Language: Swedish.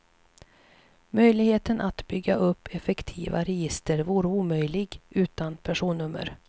Möjligheten att bygga upp effektiva register vore omöjlig utan personnummer.